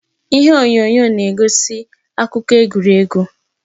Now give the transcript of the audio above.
Ihe onyonyo a na-egosi akụkọ egwuregwu